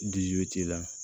t'i la